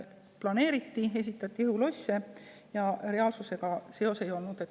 Planeeriti, ehitati õhulosse, aga reaalsusega palju seost ei olnud.